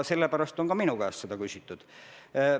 Sellepärast on seda ka minu käest küsitud.